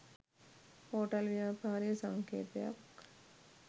Hotel ව්‍යාපාරයේ සංකේතයක්.